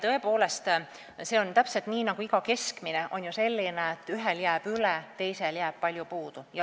Tõepoolest, see on täpselt nii, nagu igasuguse keskmisega: ühel jääb üle, teisel jääb palju puudu.